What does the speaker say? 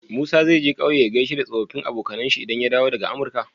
Musa zai je ƙauye ya gaishe da tsofafin abonkAnan shi idan ya dawo daka amurka?